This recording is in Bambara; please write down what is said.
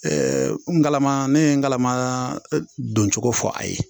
n kalama ne ye n galama don cogo fɔ a ye